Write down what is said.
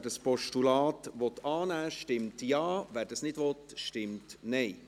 Wer das Postulat annehmen will, stimmt Ja, wer dies nicht will, stimmt Nein.